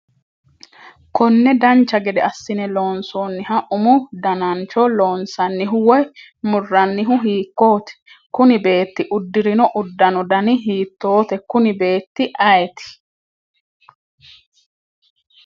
konne dancha gede assine loonsoonniha umu danancho loonsannihu woy murrannihu hiikkooti? kuni beetti uddirino uddano dani hiittoote? kuni beetti ayeeti?